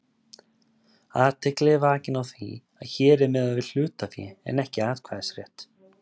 Athygli er vakin á því að hér er miðað við hlutafé en ekki atkvæðisrétt.